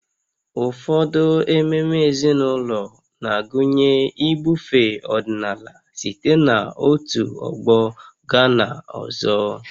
Ụfọdụ ememe ezinụlọ na-agụnye ibufe ọdịnala site n'otu ọgbọ gaa n'ọzọ